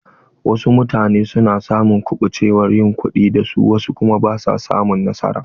Wasu mutane na samun kubucewar yin kuɗi da su wasu kuma basu samun nasara.